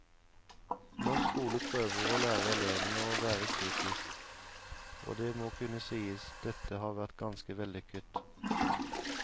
Norsk skole prøver å lære elevene å være kritisk, og det må kunne sies at dette har vært ganske vellykket.